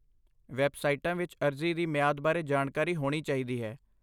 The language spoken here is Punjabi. ਵੈੱਬਸਾਈਟਾਂ ਵਿੱਚ ਅਰਜ਼ੀ ਦੀ ਮਿਆਦ ਬਾਰੇ ਜਾਣਕਾਰੀ ਹੋਣੀ ਚਾਹੀਦੀ ਹੈ।